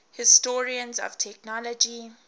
historians of technology